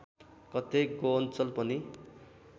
कतै गोअञ्चल पनि